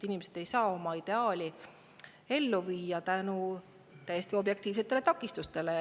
Inimesed ei saa oma ideaali ellu viia täiesti objektiivsete takistuste tõttu.